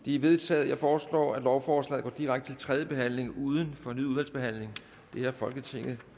de er vedtaget jeg foreslår at lovforslaget går direkte tredje behandling uden fornyet udvalgsbehandling det har folketinget